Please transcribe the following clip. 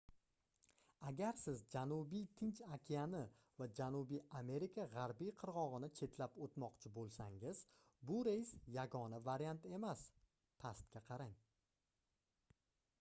agar siz janubiy tinch okeani va janubiy amerika g'arbiy qirg'og'ini chetlab o'tmoqchi bo'lsangiz bu reys yagona variant emas. pastga qarang